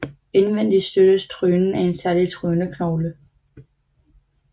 Indvendig støttes trynen af en særlig tryneknogle